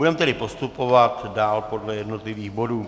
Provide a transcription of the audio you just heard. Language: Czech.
Budeme tedy postupovat dál podle jednotlivých bodů.